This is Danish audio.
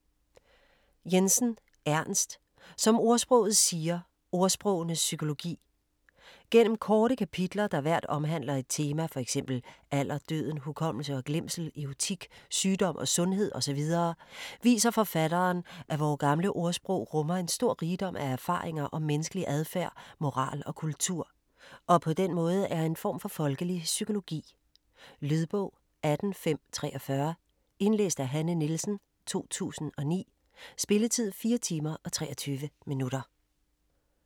Jensen, Ernst: Som ordsproget siger: ordsprogenes psykologi Gennem korte kapitler, der hvert omhandler et tema, fx alder, døden, hukommelse og glemsel, erotik, sygdom og sundhed osv., viser forfatteren, at vore gamle ordsprog rummer en stor rigdom af erfaringer om menneskelig adfærd, moral og kultur, og den måde er en form for folkelig psykologi. Lydbog 18543 Indlæst af Hanne Nielsen, 2009. Spilletid: 4 timer, 23 minutter.